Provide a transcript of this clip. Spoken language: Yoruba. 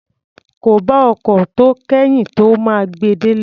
Kò bá ọkọ̀ tó kẹ́yìn tó máa gbe délé.